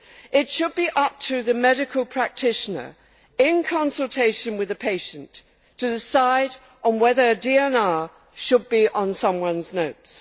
It should be up to the medical practitioner, in consultation with the patient, to decide on whether DNR should be on someone's notes.